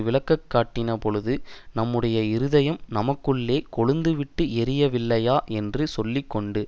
விளங்கக்காட்டினபொழுது நம்முடைய இருதயம் நமக்குள்ளே கொழுந்து விட்டு எரியவில்லையா என்று சொல்லி கொண்டு